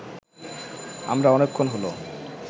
আমরা অনেকক্ষণ হলো